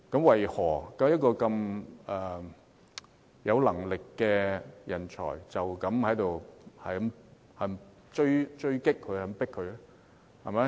為何一位有能力的人才要這樣被追擊？